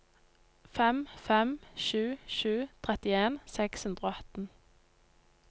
fem fem sju sju trettien seks hundre og atten